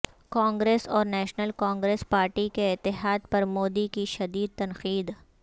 کانگریس اور National Congress Party کے اتحاد پر مودی کی شدید تنقید